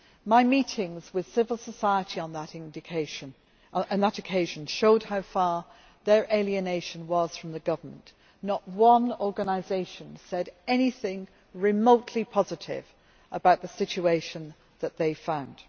My meetings with civil society on that occasion showed how far their alienation was from the government not one organisation said anything remotely positive about the situation that they found.